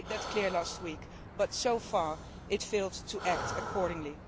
I made that clear last week, but so far, it has failed to act accordingly.